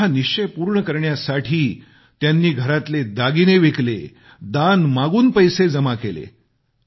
आपला हा निश्चय पूर्ण करण्यासाठी त्यानी घरातले दागिने विकले दान मागून पैसे जमा केले